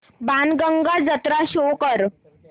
बाणगंगा जत्रा शो कर